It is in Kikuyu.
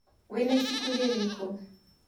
Wĩna ibuku rĩrĩkũ?